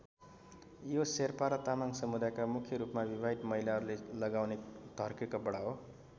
यो शेर्पा र तामाङ समुदायका मुख्य रूपमा विवाहित महिलाहरूले लगाउने धर्के कपडा हो।